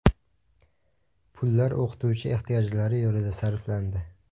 Pullar o‘qituvchi ehtiyojlari yo‘lida sarflandi.